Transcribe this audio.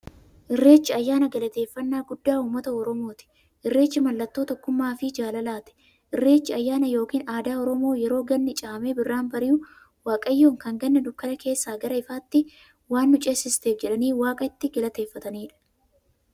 Irreechi ayyaana galateeffnnaa guddaa ummata oromooti. Irreechi mallattoo tokkummaafi jaalalaati. Irreechi ayyaana yookiin aadaa Oromoo yeroo ganni caamee birraan bari'u, waaqayyoon kan Ganna dukkana keessaa gara ifaatti waan nu ceesifteef jedhanii waaqa itti galateeffataniidha.